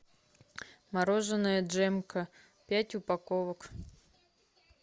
мороженое джемка пять упаковок